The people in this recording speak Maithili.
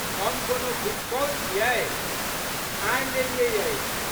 हम कोनो भुसकौल छियै। ठानि लेलियै अछि।